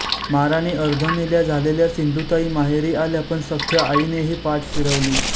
माराने अर्धमेल्या झालेल्या सिंधुताई माहेरी आल्या पण सख्ख्या आईनेही पाठ फिरवली